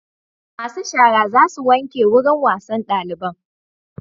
Masu shara za su wanke wurin wasan daliban